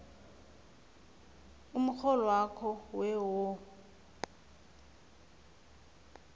umrholwakho we wo